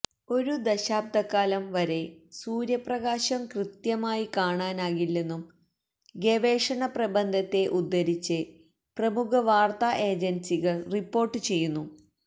ഒരു ദശാബ്ദക്കാലം വരെ സൂര്യപ്രകാശം കൃത്യമായി കാണാനാകില്ലെന്നും ഗവേഷണ പ്രബന്ധത്തെ ഉദ്ധരിച്ച് പ്രമുഖവാര്ത്താ ഏജന്സികൾ റിപ്പോര്ട്ട് ചെയ്യുന്നു